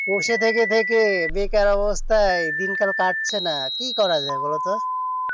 বসে থেকে থেকে বেকার অবস্থায় দিন কাল কাটছে না কি করা যাই বোলো তো